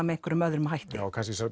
með einhverjum öðrum hætti kannski